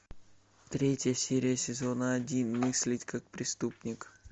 третья серия сезона один мыслить как преступник